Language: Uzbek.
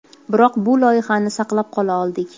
Biroq bu loyihani saqlab qola oldik.